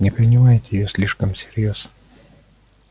не принимайте её слишком всерьёз